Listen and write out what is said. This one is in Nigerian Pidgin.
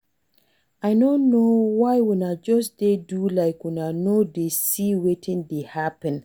I no know why una just dey do like una no dey see wetin dey happen